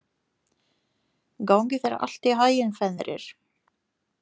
Gangi þér allt í haginn, Fenrir.